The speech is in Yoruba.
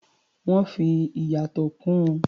Wọ́n fi ìyàtọ̀ kún un.